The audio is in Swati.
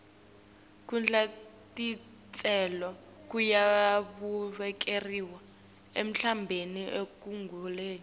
kudla titselo kuyawuvikela umtimba ekuguleni